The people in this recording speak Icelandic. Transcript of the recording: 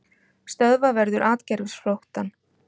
Stöðva verður atgervisflóttann